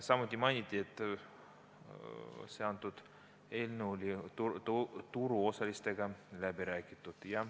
Samuti mainiti, et see eelnõu on turuosalistega läbi räägitud.